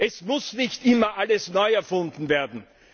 Es muss nicht immer alles neu erfunden werden.